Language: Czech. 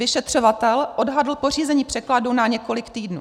Vyšetřovatel odhadl pořízení překladu na několik týdnů.